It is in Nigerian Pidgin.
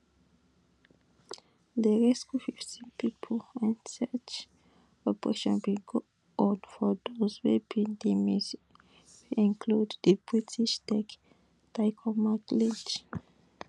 dem rescue fifteen pipo and search operation bin go on for dose wey bin dey miss wey include di british tech tycoon mike lynch